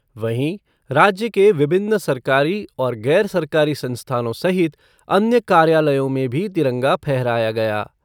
वहीं, राज्य के विभिन्न सरकारी और गैर सरकारी संस्थानों सहित अन्य कार्यालयों में भी तिरंगा फहराया गया।